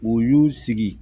U y'u sigi